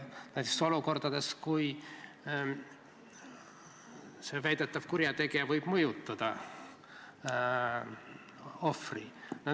Võib ju tekkida olukordi, kui väidetav kurjategija võib ohvrit mõjutada.